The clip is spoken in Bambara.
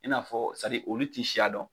I n'a fɔ olu tɛ siya dɔn.